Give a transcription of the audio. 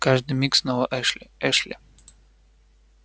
о каждый миг снова эшли эшли